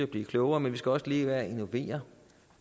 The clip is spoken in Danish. blive klogere men vi skal også leve af at innovere